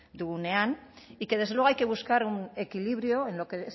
dugunean y que desde luego hay que buscar un equilibrio en lo que